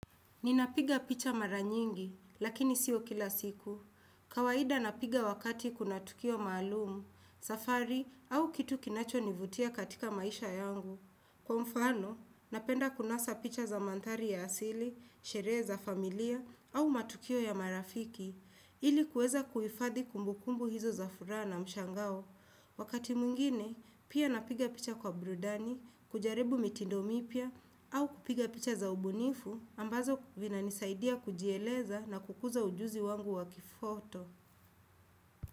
Ninapiga picha mara nyingi, lakini sio kila siku. Kawaida napiga wakati kuna tukio maalum, safari, au kitu kinachonivutia katika maisha yangu. Kwa mfano, napenda kunasa picha za manthari ya asili, sherehe za familia, au matukio ya marafiki, ili kuweza kuhifadhi kumbukumbu hizo za furaha na mshangao. Wakati mwingine, pia napiga picha kwa brudani, kujaribu mitindo mipya, au kupiga picha za ubunifu ambazo vinanisaidia kujieleza na kukuza ujuzi wangu wa kifoto.